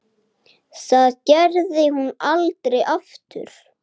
Það gerði hún aldrei aftur.